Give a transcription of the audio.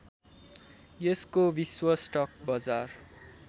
यसको विश्व स्टक बजार